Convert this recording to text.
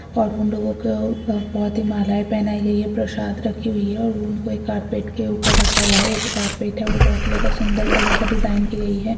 और ऊन लोगो को बहुत ही मालाये पहनाइ गई है प्रशाद रखी हुई है और उनको एक कार्पेट के उपर रखा हुआ है और वो जो कार्पेट है वो बहुत ही ज्यादा सुंदर कलर की डिजाईन की गई है।